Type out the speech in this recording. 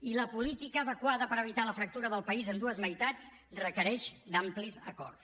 i la política adequada per evitar la fractura del país en dues meitats requereix amplis acords